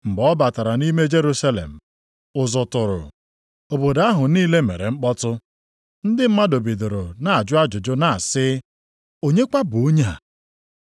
Mgbe ọ batara nʼime Jerusalem, ụzụ tụrụ, obodo ahụ niile mere mkpọtụ. Ndị mmadụ bidoro na-ajụ ajụjụ na-asị, “Onye kwa bụ onye a?”